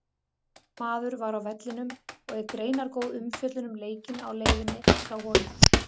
Okkar maður var á vellinum og er greinargóð umfjöllun um leikinn á leiðinni frá honum.